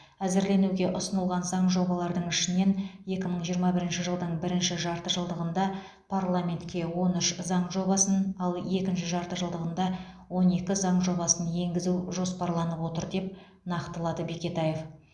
әзірленуге ұсынылған заң жобалардың ішінен екі мың жиырма бірінші жылдың бірінші жартыжылдығында парламентке он үш заң жобасын ал екінші жартыжылдығында он екі заң жобасын енгізу жоспарланып отыр деп нақтылады бекетаев